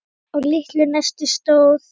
Á litlu nesi stóð